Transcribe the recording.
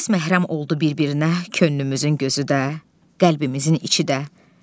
Tez məhrəm oldu bir-birinə könlümüzün gözü də, qəlbimizin içi də.